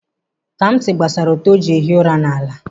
Kamsi gbasara ute o ji ehi ụra n'ala.